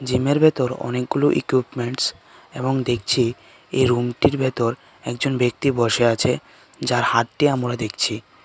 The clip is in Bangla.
জিমের এর ভেতর অনেকগুলো ইকুইপমেন্টস এবং দেখছি এই রুম টির ভেতর একজন ব্যক্তি বসে আছে যার হাতটি আমোরা দেখছি।